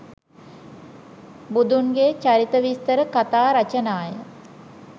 බුදුන්ගේ චරිත විස්තර කථා රචනාය.